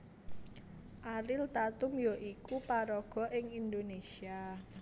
Ariel Tatum ya iku paraga ing Indonésia